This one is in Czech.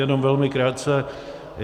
Jenom velmi krátce.